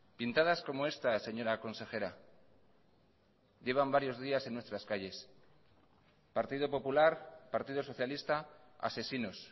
pintadas como esta señora consejera llevan varios días en nuestras calles partido popular partido socialista asesinos